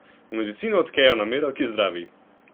V medicino vtkejo namero, ki zdravi.